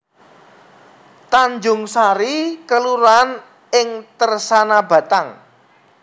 Tanjungsari kelurahan ing Tersana Batang